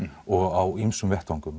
og á ýmsum